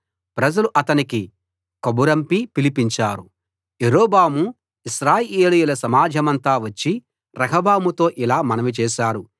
ప్రజలు అతనికి కబురంపి పిలిపించారు యరొబాము ఇశ్రాయేలీయుల సమాజమంతా వచ్చి రెహబాముతో ఇలా మనవి చేశారు